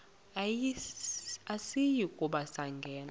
asiyi kuba sangena